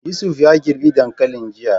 Yusuf ya girbe dankalin jiya.